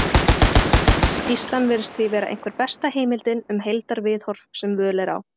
skýrslan virðist því vera einhver besta heimildin um heildarviðhorf sem völ er á